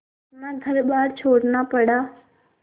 अपना घरबार छोड़ना पड़ा